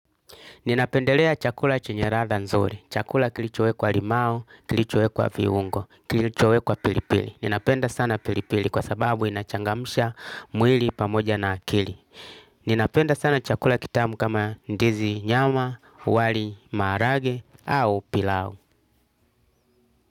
Ninapendelea chakula chenye radha nzuri. Chakula kilichowekwa limau, kilichowekwa viungo, kilichowekwa pilipili. Ninapenda sana pilipili kwa sababu inachangamsha mwili pamoja na akili. Ninapenda sana chakula kitamu kama ndizi nyama, wali marage au pilau.